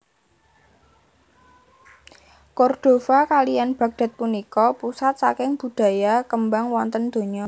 Cordova kaliyan Baghdad punika pusat saking budaya kembang wonten dunya